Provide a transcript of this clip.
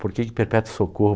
Por que que Perpétuo Socorro